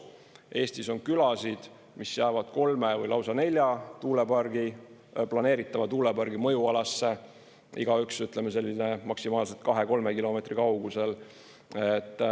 Eestis on külasid, mis jäävad kolme või lausa nelja planeeritava tuulepargi mõjualasse, igaüks maksimaalselt 2–3 kilomeetri kaugusel.